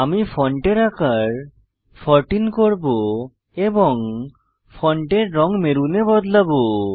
আমি ফন্টের আকার 14 করব এবং ফন্টের রঙ মেরুনে বদলাবো